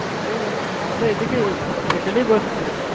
এই আমাদের এদিকেই Airtel ই বসছে